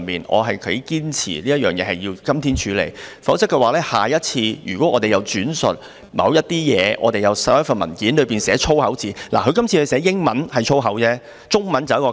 我頗堅持這事情要在今天處理，否則下一次如果我們轉述某份文件內的某些東西時出現粗口怎辦？